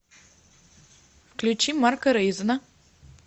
включи марка рейзена